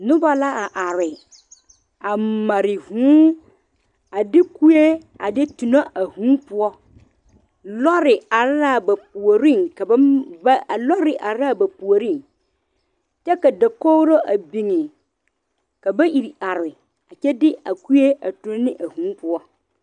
Noba la a are a mare vūū a de kue a de tuno a vūū poɔ lɔre are la ba puori a ba va a lɔre are la ba puori kyɛ ka dakogri a biŋ ka ba iri are kyɛ de a kue a tuno ne a vūū poɔ.